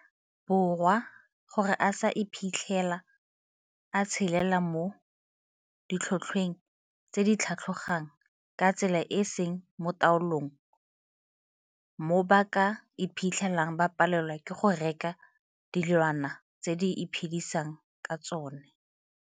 Borwa gore a se iphitlhele a tshelela mo ditlhotlhweng tse di tlhatlhogang ka tsela e e seng mo taolong mo ba ka iphitlhelang ba palelwa ke go reka dilwana tse ba iphedisang ka tsona.